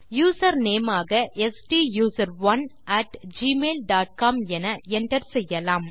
user name ஆக ஸ்டூசரோன் at Gmail dot com என enter செய்யலாம்